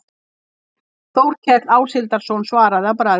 Þórkell Áshildarson svaraði að bragði